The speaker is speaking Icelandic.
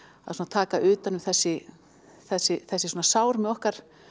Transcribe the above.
taka utan um þessi þessi þessi sár með okkar